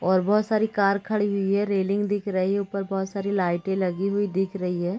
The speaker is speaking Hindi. और बोहत सारी कार खड़ी हुई है रेलिंग दिख रही है ऊपर बोहत सारी लाइटें लगी हुई दिख रही है।